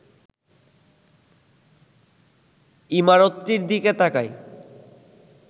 ইমারতটির দিকে তাকাই